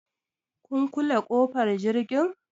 Kun kule ƙofar jirgi?